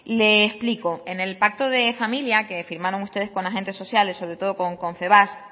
le explico en el pacto de familia que firmaron ustedes con agentes sociales sobre todo con confebask